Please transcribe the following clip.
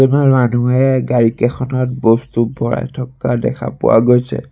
কিছুমান মানুহে গাড়ী কেইখনত বস্তু ভৰাই থকা দেখা পোৱা গৈছে।